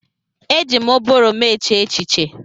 Eji m ụbụrụ m eche echiche.